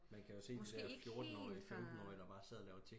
Man kan jo se de der fjortenårige femtenårige der bar sad og laver